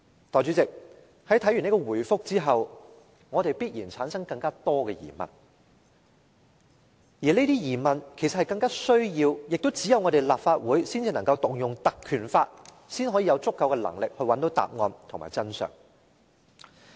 代理主席，在看畢這回覆後，我們必然產生更多疑問，而這些疑問其實更需要、亦只有立法會才能引用《條例》，才有足夠的能力找到答案和真相。